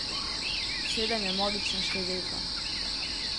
Sedem je magična številka.